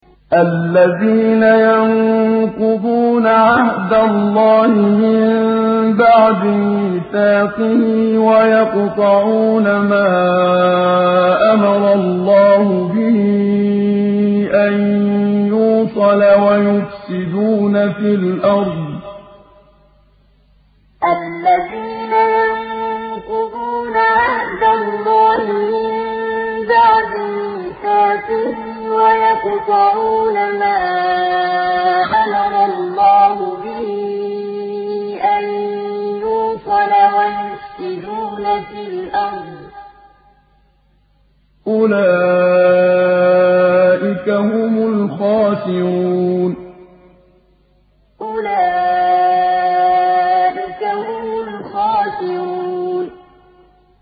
الَّذِينَ يَنقُضُونَ عَهْدَ اللَّهِ مِن بَعْدِ مِيثَاقِهِ وَيَقْطَعُونَ مَا أَمَرَ اللَّهُ بِهِ أَن يُوصَلَ وَيُفْسِدُونَ فِي الْأَرْضِ ۚ أُولَٰئِكَ هُمُ الْخَاسِرُونَ الَّذِينَ يَنقُضُونَ عَهْدَ اللَّهِ مِن بَعْدِ مِيثَاقِهِ وَيَقْطَعُونَ مَا أَمَرَ اللَّهُ بِهِ أَن يُوصَلَ وَيُفْسِدُونَ فِي الْأَرْضِ ۚ أُولَٰئِكَ هُمُ الْخَاسِرُونَ